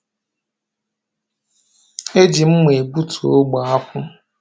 E ji mma e gbutu ogbe akwụ.